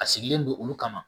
A sigilen don olu kama